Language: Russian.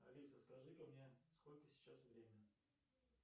алиса скажи ка мне сколько сейчас время